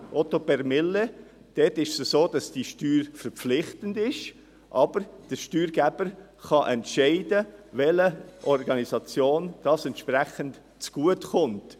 Dort ist es so, dass diese Steuer verpflichtend ist, aber der Steuerzahler kann entscheiden, welcher Organisation das Geld zugutekommt.